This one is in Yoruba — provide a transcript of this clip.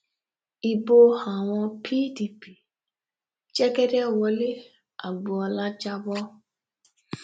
ibo àwọn pdp l jẹgẹdẹ wọlé agbọọlá jà bọ